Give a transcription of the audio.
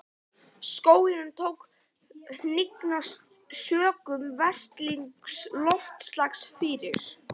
Skóginum tók að hnigna sökum versnandi loftslags fyrir